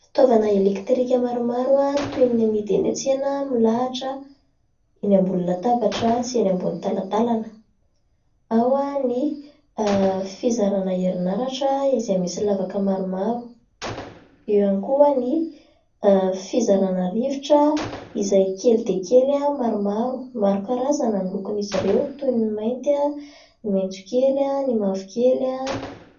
Fitaovana elektrika maromaro toy ny amidy eny an-tsena milahatra eny ambonin'ny latabatra sy eny ambonin'ny talatalana. Ao ny fizarana herinaratra izay misy lavaka maromaro. Eo ihany koa ny fizarana rivotra izay kely dia kely maromaro. Maro karazana ny lokon'izy ireo toy ny mainty, maitsokely, ny mavokely,